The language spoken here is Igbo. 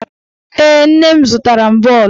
Ee, nne m zụtara m bọọlụ.